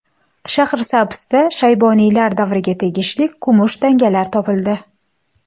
Shahrisabzda Shayboniylar davriga tegishli kumush tangalar topildi.